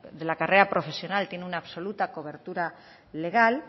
de la carrera profesional tiene una absoluta cobertura legal